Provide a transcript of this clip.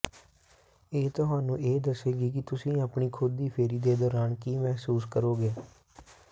ਇਹ ਤੁਹਾਨੂੰ ਇਹ ਦੱਸੇਗੀ ਕਿ ਤੁਸੀਂ ਆਪਣੀ ਖੁਦ ਦੀ ਫੇਰੀ ਦੇ ਦੌਰਾਨ ਕੀ ਮਹਿਸੂਸ ਕਰੋਗੇ